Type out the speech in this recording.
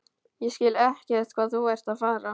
Ég skil ekkert hvað þú ert að fara.